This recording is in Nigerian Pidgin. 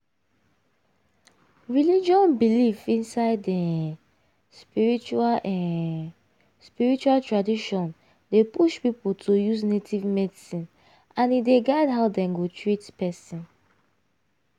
religion belief inside um spiritual um spiritual tradition dey push people to use native medicine and e dey guide how dem go treat person.